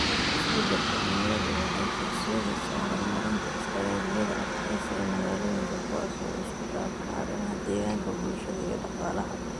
Isbeddelka cimiladu waxay horseedaysaa horumarinta istaraatiijiyada adkeysiga magaalooyinka kuwaas oo isku dhafan arrimaha deegaanka, bulshada iyo dhaqaalaha.